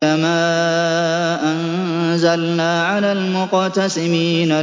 كَمَا أَنزَلْنَا عَلَى الْمُقْتَسِمِينَ